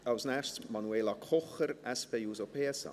Als Nächstes Manuela Kocher, SP-JUSO-PSA.